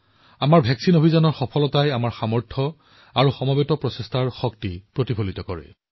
আমাৰ প্ৰতিষেধক কাৰ্যসূচীৰ সফলতাই ভাৰতৰ শক্তি সকলোৰে প্ৰচেষ্টাৰ মন্ত্ৰৰ শক্তি প্ৰদৰ্শন কৰে